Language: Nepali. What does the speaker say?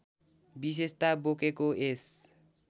विशेषता बोकेको यस